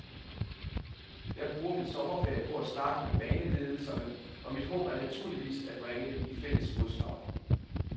Jeg bruger min sommerferie på at snakke med baneledelserne, og mit håb er naturligvis at bringe dem i fælles fodslag.